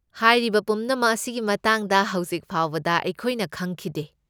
ꯍꯥꯏꯔꯤꯕ ꯄꯨꯝꯅꯃꯛ ꯑꯁꯤꯒꯤ ꯃꯇꯥꯡꯗ ꯍꯧꯖꯤꯛ ꯐꯥꯎꯕꯗ ꯑꯩꯈꯣꯏꯅ ꯈꯪꯈꯤꯗꯦ꯫